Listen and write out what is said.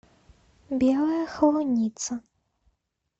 белая холуница